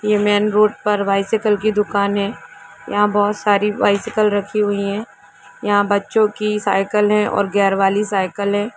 ये मेँ रोड पर बाइ साइकिल की दुकान हैं यहाँ बहुत सारि बाई साइकिल रखि हुई हैं यहाँ बच्चों की साइकिल हैं और गैर वाली साइकिल हैं।